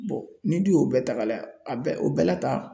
ni du y'o bɛɛ ta ka lajɛ a bɛɛ o bɛɛ la tan